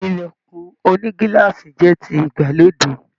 Ilẹkùn ònígíláàsì jẹ tí ìgbàlódé.